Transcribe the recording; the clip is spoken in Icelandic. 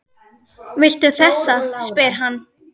Viltu þessa? spyr hann.